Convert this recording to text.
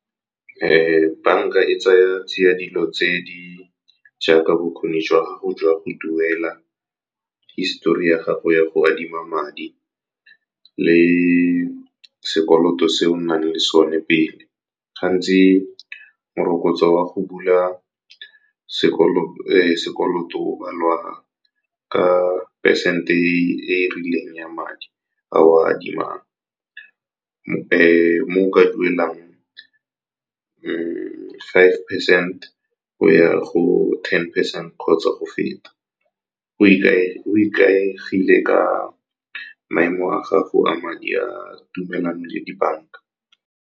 Banka e tsaya tsia dilo tse di jaaka bokgoni jwa gago jwa go duela, histori ya gago ya go adima madi, le sekoloto se o nang le sone pele. Gantsi morokotso wa go bula sekoloto o balwa ka percent e rileng ya madi a o adimang. Mo o ka dulang mo five percent go ya go ten percent kgotsa go feta , go ikaegile ka maemo a gago a madi, a tumelano le dibaka.